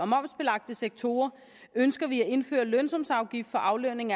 momsbelagte sektorer ønsker vi at indføre en lønsumsafgift for aflønning